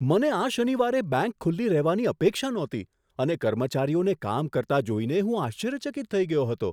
મને આ શનિવારે બેંક ખુલ્લી રહેવાની અપેક્ષા નહોતી અને કર્મચારીઓને કામ કરતા જોઈને હું આશ્ચર્યચકિત થઈ ગયો હતો.